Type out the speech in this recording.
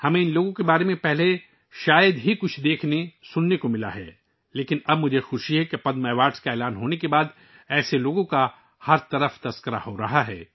ہم نے ان لوگوں کے بارے میں پہلے شاید ہی کچھ دیکھا یا سنا ہو، لیکن اب مجھے خوشی ہے کہ پدم ایوارڈ کے اعلان کے بعد، اس طرح کے لوگوں کے چرچے ہر جگہ ہو رہے ہیں